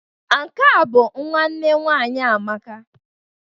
Nke a bụ nwanne nwaanyị Amaka.